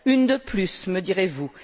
Une de plus, me direz vous!